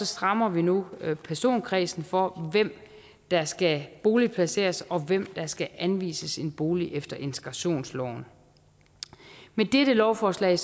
strammer vi nu personkredsen for hvem der skal boligplaceres og hvem der skal anvises en bolig efter integrationsloven med dette lovforslag